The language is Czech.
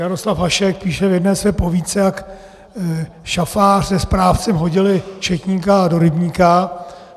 Jaroslav Hašek píše v jedné své povídce, jak šafář se správcem hodili četníka do rybníka.